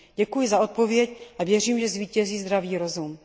Děkuji za odpověď a věřím, že zvítězí zdravý rozum.